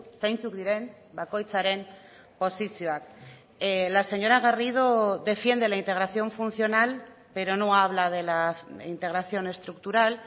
zeintzuk diren bakoitzaren posizioak la señora garrido defiende la integración funcional pero no habla de la integración estructural